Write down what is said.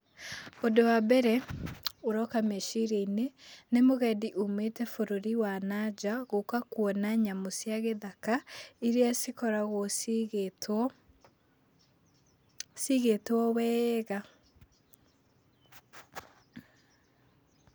Ũndũ wa mbere ũroka meciria-inĩ nĩ mũgendi ũmĩte bũrũri wa nanja gũka kwona nyamũ cia gĩthaka iria cikoragwo cigĩtwo, cigĩtwo wega.